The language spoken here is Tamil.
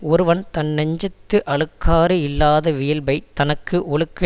ஒருவன் தன்னெஞ்சத்து அழுக்காறு இல்லாத வியல்பைத் தனக்கு ஒழுக்க